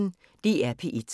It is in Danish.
DR P1